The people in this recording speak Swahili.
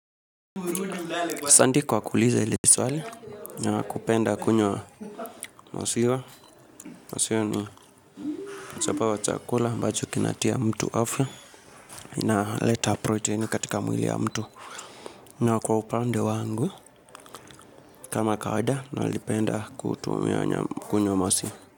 Kuulixa lipi swali na kupenda kunywa maziwa Masiwa ni chapa wa chakula ambacho kinatia mtu afya. Inaleta protein katika mwili ya mtu. Na kwa upande wangu kama kawaida nalipenda kutumia kwenye wa masiwa.